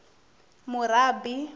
murabi